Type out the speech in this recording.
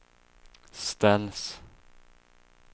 ställs